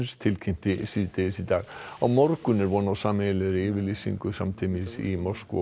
tilkynnti síðdegis í dag á morgun er von á sameiginlegri yfirlýsingu samtímis í Moskvu og